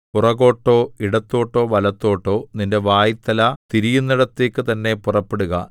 പുറകോട്ടോ ഇടത്തോട്ടോ വലത്തോട്ടോ നിന്റെ വായ്ത്തല തിരിയുന്നിടത്തേക്കു തന്നെ പുറപ്പെടുക